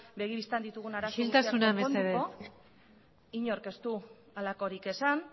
begi bistan ditugun arazo guztiak konponduko isiltasuna mesedez inork ez du halakorik esan